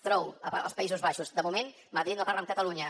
trouw als països baixos de moment madrid no parla amb catalunya